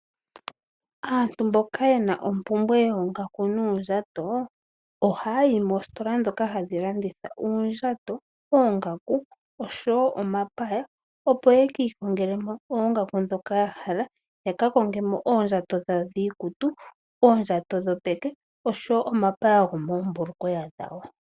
Aantu mboka yena ompumbwe yoongaku noondjato ohaya yi moositola ndhoka hadhi landitha uundjato, oongaku oshowo omapaya opo ye kiikongele mo oongaku ndhoka ya hala. Yakakonge mo oondjato dhawo dhiikutu, oondjato dhopeke oshowo omapaya gomoombulukweya dhawo.